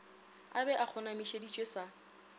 a be a kgonamišeditšwe sa